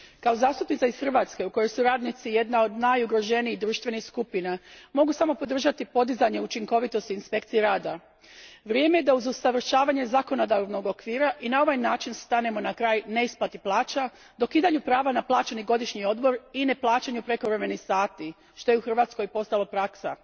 Poštovani g. predsjedniče, kao zastupnica iz Hrvatske u kojoj su radnici jedna od najugroženijih društvenih skupina mogu samo podržati podizanje učinkovitosti inspekcije rada. Vrijeme je da uz usavršavanje zakonodavnog okvira i na ovaj način stanemo na kraj neisplati plaća, dokidanju prava na plaćeni godišnji odmor i neplaćanju prekovremenih sati, što je u Hrvatskoj postalo praksa.